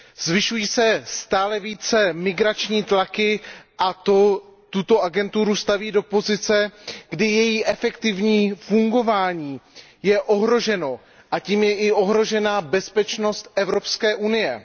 Zvyšují se stále více migrační tlaky a to tuto agenturu staví do pozice, kdy je její efektivní fungování ohroženo, a tím je i ohrožena bezpečnost Evropské unie.